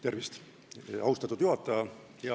Tervist, austatud juhataja!